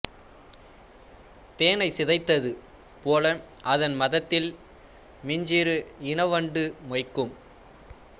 தேனைச் சிதைத்தது போல அதன் மதத்தில் மிஞிறு இன வண்டு மொய்க்கும்